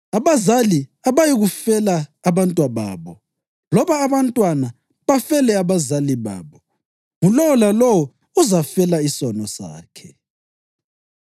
Abazali abayikufela abantwababo, loba abantwana bafele abazali babo; ngulowo lalowo uzafela isono sakhe.